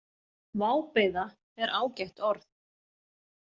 Vábeiða er ágætt orð.